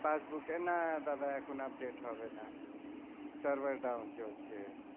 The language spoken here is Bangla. Passbook এর না দাদা এখন update হবে না। server down চলছে।